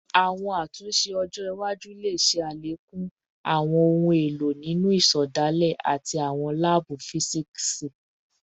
Awọn atunṣe ọjọ iwaju le ṣe alekun awọn ohun elo ninu isedale ati awọn laabu fisiksi